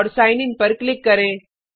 और sign in पर click करें